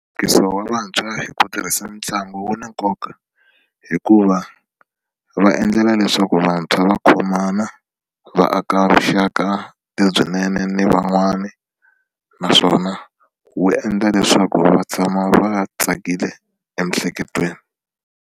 wa vantshwa hi ku tirhisa mitlangu wu na nkoka hikuva va endlela leswaku vantshwa va khomana va aka vuxaka lebyinene ni van'wana naswona wu endla leswaku va tshama va tsakile emiehleketweni.